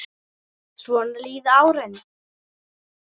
Svona líða árin.